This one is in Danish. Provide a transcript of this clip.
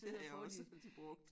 Det har jeg også altid brugt